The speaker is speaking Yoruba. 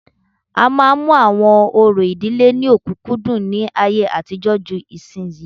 A máa ń mú àwọn orò ìdílé ní ọ̀kúnkúndùn ní ayé àtijọ́ ju ìsinyìí